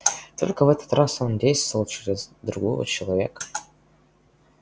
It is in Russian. только в этот раз он действовал через другого человека